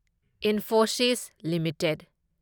Infosys limited